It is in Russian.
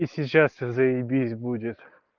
и сейчас заебись будет